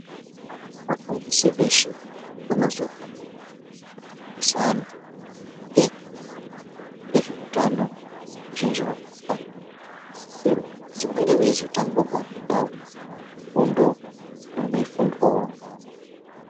Vafudisi veshe vanozohamba veifundisa antu maringe ngezveutano ,vazhinji vakona vanosisirwa kuti vange veizotanga vapindaeo mufundo inenge yeifundwawo ngeamweni.